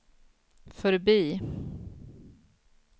förbi